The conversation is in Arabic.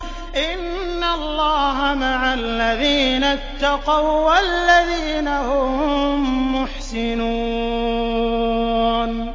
إِنَّ اللَّهَ مَعَ الَّذِينَ اتَّقَوا وَّالَّذِينَ هُم مُّحْسِنُونَ